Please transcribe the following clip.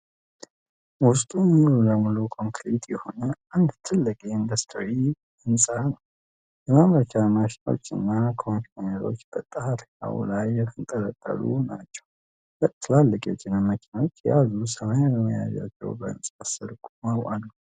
ውስጡ ሙሉ ለሙሉ ኮንክሪት የሆነ አንድ ትልቅ የኢንዱስትሪ ህንፃ ነው። የማምረቻ ማሽኖችና ኮንቬየሮች በጣሪያው ላይ የተንጠለጠሉ ናቸው። ሁለት ትላልቅ የጭነት መኪኖች የያዙ ሰማያዊ መያዣዎች በህንፃው ስር ቆመው አሉ።